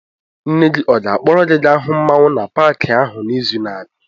Nne gị ọ ga-akpọrọ gị gaa hụ mmanwu na Pááki ahụ n'izu na-abịa?